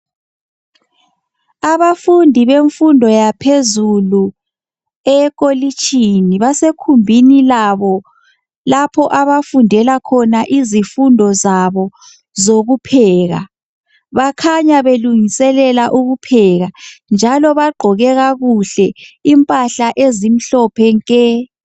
Abafundi bemfundo yaphezulu ekolitshini basegumbini labo lapho abafundela khona izifundo zabo zokupheka bakhanya belungiselela ukupheka njalo bagqoke kakuhle impahla ezimhlophe nke